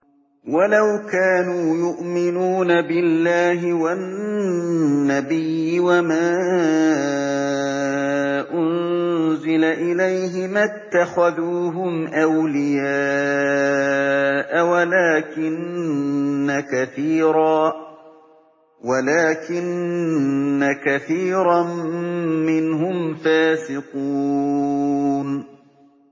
وَلَوْ كَانُوا يُؤْمِنُونَ بِاللَّهِ وَالنَّبِيِّ وَمَا أُنزِلَ إِلَيْهِ مَا اتَّخَذُوهُمْ أَوْلِيَاءَ وَلَٰكِنَّ كَثِيرًا مِّنْهُمْ فَاسِقُونَ